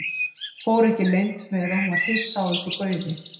Fór ekki leynt með að hún var hissa á þessu gaufi.